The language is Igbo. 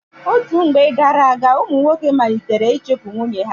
Otú mgbe gara-aga, ụmụ nwoke malitere ịchụpu nwunye ha.